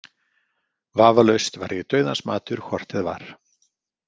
Vafalaust var ég dauðans matur hvort eð var.